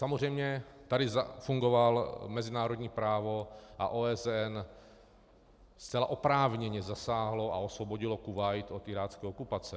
Samozřejmě tady zafungovalo mezinárodní právo a OSN zcela oprávněně zasáhlo a osvobodilo Kuvajt od irácké okupace.